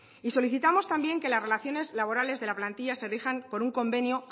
y solicitamos también que las relaciones laborales de la plantilla se rijan por un convenio